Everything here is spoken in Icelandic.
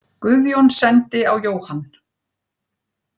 Guðjón sendi á Jóhann.